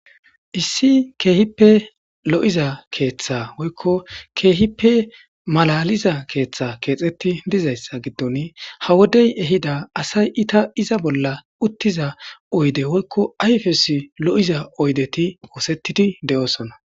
Issi kehippe lo'iiza keththa woykko kehippe malaliza keththa kexxeti dizaysa ha woddey ehidda asay iza bolla utiza ayfes loiza oyddeti ossetidi de'ossona'